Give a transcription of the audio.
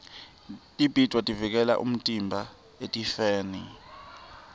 tibhidvo tivikela umtimba etifeni